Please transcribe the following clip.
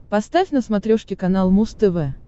поставь на смотрешке канал муз тв